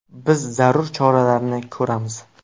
Biz zarur choralarni ko‘ramiz.